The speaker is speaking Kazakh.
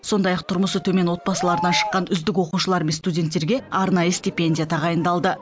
сондай ақ тұрмысы төмен отбасылардан шыққан үздік оқушылар мен студенттерге арнайы стипендия тағайындалды